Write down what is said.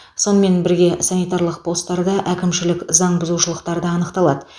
сонымен бірге санитарлық постарда әкімшілік заңбұзушылықтар да анықталады